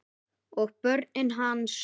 Og börnin hans.